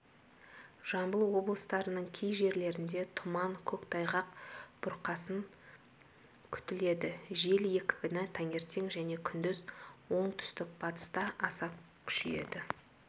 жамбыл облыстарының кей жерлерінде тұман көктайғақ бұрқасын күтіледі жел екпіні таңертең және күндіз оңтүстік-батыста аса күшейеді